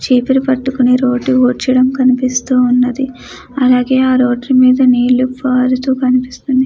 చిపిరి కట్టుకొని రోడ్డు ఊర్చడం కనిపిస్తుంది. అలాగే నీరు పారుతూ కనిపిస్తుంది.